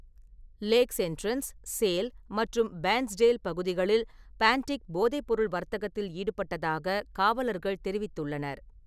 Lakhs Entrance, Sale மற்றும் Bairnsdale பகுதிகளில் பான்டிக் போதைப்பொருள் வர்த்தகத்தில் ஈடுபட்டதாக காவலர்கள் தெரிவித்துள்ளனர்.